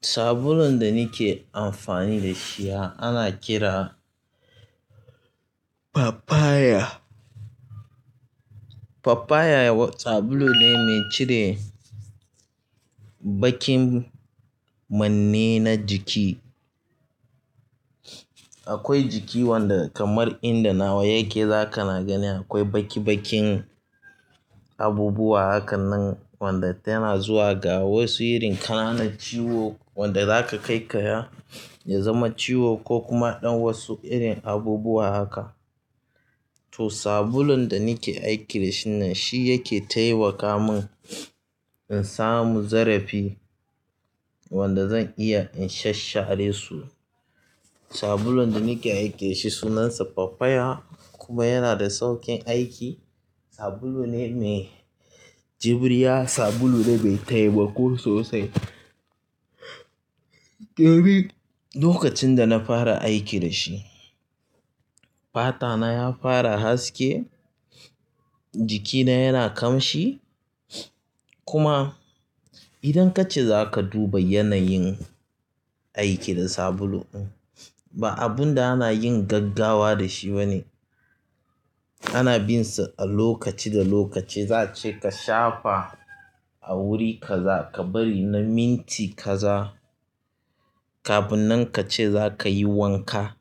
Sabulun da nike amfani da shi ana kira Papaya. Papaya wa sabulu ne mai cire bakin manne na jiki. Akwai jiki wanda kamar inda nawa yake zaka na ganin akwai baki-bakin abubuwa hakannan wanda tana zuwa ga wasu irin ƙananan ciwo wanda za ka kaikaya ya zama ciwo ko kuma ɗan wasu irin abubuwa haka. Toh sabulun da nake aiki da shi ɗin nan shi yake taimaka mun in samu zarafi wanda zan iya in shashshare su sabulun da nike aiki da shi sunansa Papaya kuma yana da sauƙin aiki. Sabulu ne mai jibriya, sabulu ne mai taimako sosai. Lokacin da na fara aiki da shi, fata na ya fara haske, jiki na yana ƙamshi kuma idan kace za ka duba yanayin aiki da sabulu in, ba abun da ana yin gaggawa da shi ba ne. Ana bin sa a lokaci da lokaci za'ace ka shafa a wuri kaza, ka bari na minti kaza kafin nan kace zakayi wanka.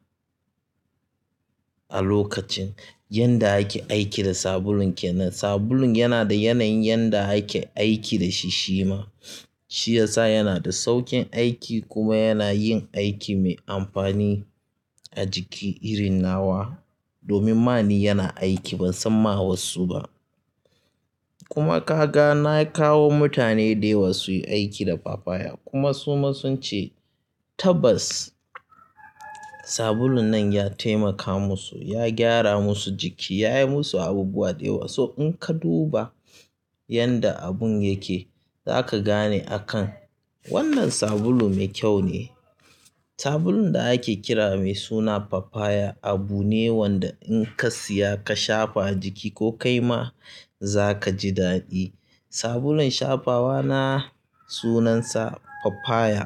A lokacin yanda ake aiki da sabulun kenan sabulun yana da yanayin yanda ake aiki da shi shima. Shi yasa yana da sauƙin aiki kuma yana yin aiki mai amfani a jiki irin nawa. Domin ma ni yana aiki ban san ma wasu ba. Kuma kaga na kawo mutane da yawa su yi aiki da Papaya kuma suma sun ce tabbas sabulun nan ya taimaka musu, ya gyara musu jiki ya yi musu abubuwa da yawa. So in ka duba yadda abun yake zaka gane akan wannan sabulu mai kyau ne. Sabulun da ake kira mai suna Papaya abu ne wanda in ka siya ka shafa a jiki ko kai ma za ka ji daɗi. Sabulun shafawa na sunansa Papaya.